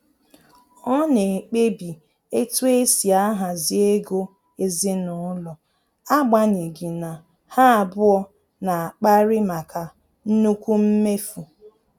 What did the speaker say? Ọ na-ekpebi etu esi ahazi ego ezinụlọ, agbanyeghi na ha abụọ na akpari maka nnukwu mmefu